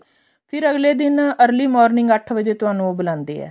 ਫੇਰ ਅਗਲੇ ਦਿਨ ਏਆਰ੍ਲ੍ਯ morning ਅੱਠ ਵਜੇ ਤੁਹਾਨੂੰ ਉਹ ਬੁਲਾਂਦੇ ਆ